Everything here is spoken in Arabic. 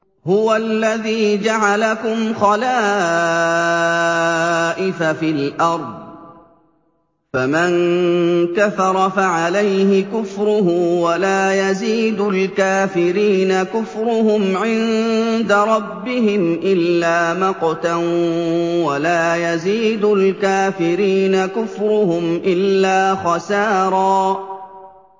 هُوَ الَّذِي جَعَلَكُمْ خَلَائِفَ فِي الْأَرْضِ ۚ فَمَن كَفَرَ فَعَلَيْهِ كُفْرُهُ ۖ وَلَا يَزِيدُ الْكَافِرِينَ كُفْرُهُمْ عِندَ رَبِّهِمْ إِلَّا مَقْتًا ۖ وَلَا يَزِيدُ الْكَافِرِينَ كُفْرُهُمْ إِلَّا خَسَارًا